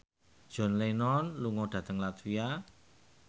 John Lennon lunga dhateng latvia